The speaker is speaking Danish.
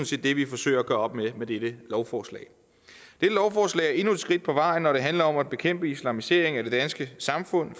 set det vi forsøger at gøre op med med dette lovforslag er endnu et skridt på vejen når det handler om at bekæmpe islamisering af det danske samfund